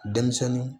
Denmisɛnnin